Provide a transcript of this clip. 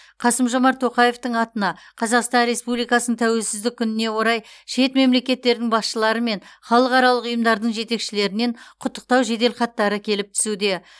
қасым жомарт тоқаевтың атына қазақстан республикасының тәуелсіздік күніне орай шет мемлекеттердің басшылары мен халықаралық ұйымдардың жетекшілерінен құттықтау жеделхаттары келіп түсуде